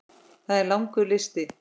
Það er langur listi.